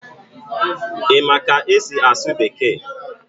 Ị ma ka esi asụ Bekee?